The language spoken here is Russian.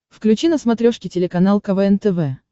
включи на смотрешке телеканал квн тв